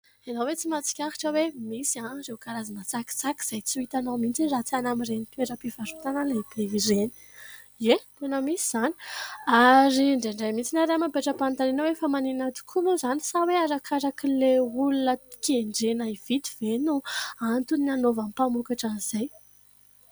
Ianao hoe tsy mahatsikaritra hoe misy ireo karazana tsakitsaky izay tsy ho hitanao mitsiny raha tsy any amin'ireny toeram-pivarotana lehibe ireny ? Ie, tena misy izany ary indraindray mitsiny ny ary mametra-panontaniana hoe fa maninona tokoa moa izany sa hoe arakaraka ilay olona kendrena hividy ve no antony ny hanaovan'ny mpamokatra izay ?